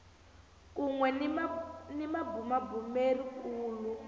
kun we ni mabumabumeri kulu